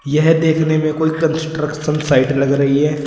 यह देखने में कोई कंस्ट्रक्शन साइट लग रही है।